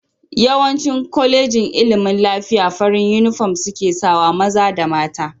Yawancin kolejin ilimin lafiya farin inufom seka sawa, maza da mta